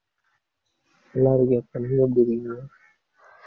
நல்லா இருக்கேன் அக்கா நீங்க எப்படி இருக்கீங்க